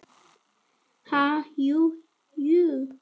Ha, jú, jú